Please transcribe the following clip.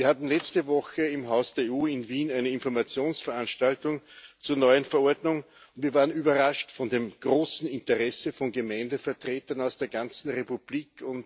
Wir hatten letzte Woche im Haus der EU in Wien eine Informationsveranstaltung zur neuen Verordnung und waren überrascht von dem großen Interesse von Gemeindevertretern aus der ganzen Republik.